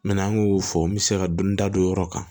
an y'o fɔ n bɛ se ka dɔni da don o yɔrɔ kan